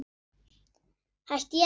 Hætti ég ekki?